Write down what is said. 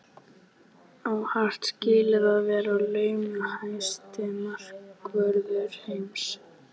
Á Hart skilið að vera launahæsti markvörður heims?